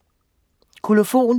Kolofon